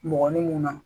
Mɔgɔnin mun na